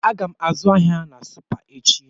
Aga m azụ ahịa na Supa echi.